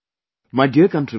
My dear countrymen